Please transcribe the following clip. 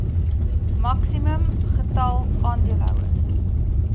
maksimum getal aandeelhouers